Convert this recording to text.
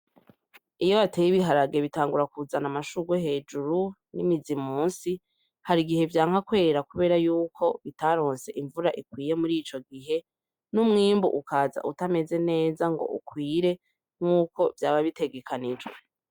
Iyo wabeye ibiharage bitangura kuzana amashurwe hejuru n'imizi musi hari igihe vyanka kwera kubera y'uko bitarose imvura ikwiye muri ico gihe n'umwimbu ukaza utameze neza ngo ukwire nkuko vyaba bitegekanyijwe.